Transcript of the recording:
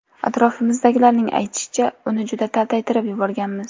Atrofimizdagilarning aytishicha, uni juda taltaytirib yuborganmiz.